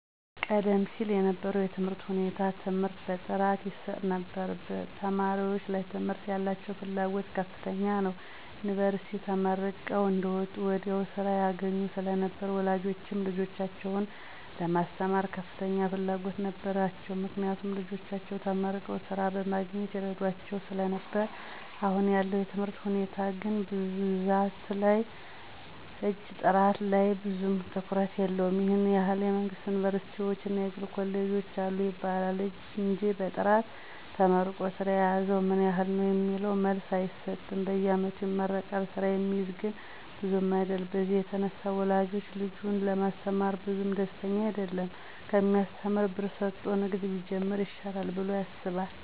ቀደም ሲል የነበረው የትምህርት ሁኔታ ትምህርት በጥራት ይሰጥ ነበር ተማሪወችም ለትምህርት ያላቸው ፍላጎት ከፍተኛ ነው። ዮኒቨርስቲ ተመርቀው አንደወጡ ወዲያው ስራ ያገኙ ስለነበር ወላጆችም ልጆቻቸውን ለማስተማር ከፍተኛ ፍላጎት ነበራቸው። ምክንያቱም ልጆቻቸው ተመርቀው ስራ በማግኘት ይረዷቸው ስለነበር አሁን ያለው የትምህርት ሁኔታ ግን ብዛት ላይ እንጅ ጥራት ላይ ብዙም ትኩረት የለውም ይህን ያህል የመንግስት ዮኒቨርስቲወች እና የግል ኮሌጆች አሉ ይባላል እንጅ በጥራት ተመርቆ ስራ የያዘው ምን ያህል ነው የሚለውን መልስ አይሰጥም በየአመቱ ይመረቃል ስራ የሚይዝ ግን ብዙም አይደለም በዚህ የተነሳ ወላጅ ልጁን ለማስተማር ብዙም ደስተኛ አይደለም ከሚያሰተምር ብር ሰጦ ንግድ ቢጀምር ይሻላል ብሎ ያስባል።